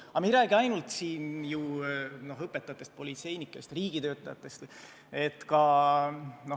Aga me ei räägi siin ju ainult õpetajatest, politseinikest, riigitöötajatest.